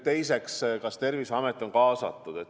Teiseks, kas Terviseamet on kaasatud?